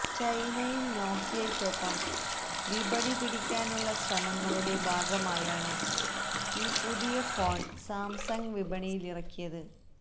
ചൈനയില് നോക്കിയയ്ക്കൊപ്പം വിപണിപിടിയ്ക്കാനുള്ള ശ്രമങ്ങളുടെ ഭാഗമായാണ് ഈ പുതിയ ഫോണ് സാംസങ് വിപണിയിലിറക്കിയത്